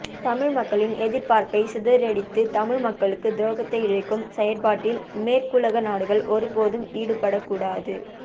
தமிழ் மக்களின் எதிர்பார்ப்பை சிதறடித்து தமிழ் மக்களுக்கு துரோகத்தை இழைக்கும் செயற்பாட்டில் மேற்குலக நாடுகள் ஒருபோதும் ஈடுபடக்கூடாது